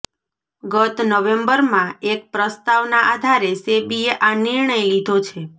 ગત નવેમ્બરમાં એક પ્રસ્તાવના આધારે સેબીએ આ નિર્ણય લીધો છે